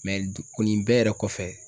du ku nin bɛɛ yɛrɛ kɔfɛ